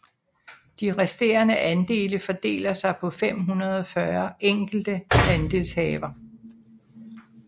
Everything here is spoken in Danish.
De resterende andele fordeler sig på 540 enkelte andelshaver